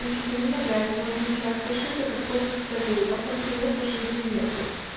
амфетамина блять может начаться шиза как после солей а после мефа шизы нету